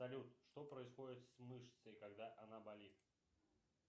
салют что происходит с мышцей когда она болит